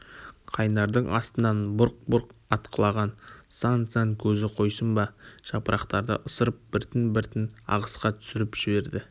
қайнардың астынан бұрқ-бұрқ атқылаған сан-сан көзі қойсын ба жапырақтарды ысырып біртін-біртін ағысқа түсіріп жіберді